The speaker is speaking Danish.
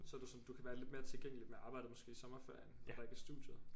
Så du sådan du kan være lidt mere tilgængeligt med arbejdet måske i sommerferien hvor der ikke er studiet?